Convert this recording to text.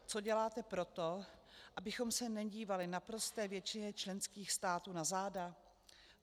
Co děláte pro to, abychom se nedívali naprosté většině členských států na záda?